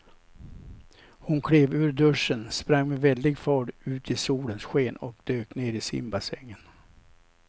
Hon klev ur duschen, sprang med väldig fart ut i solens sken och dök ner i simbassängen.